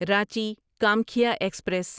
Ranchi Kamakhya express